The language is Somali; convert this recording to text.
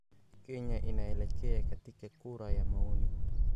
Kenya inaelekea katika kura ya maoni?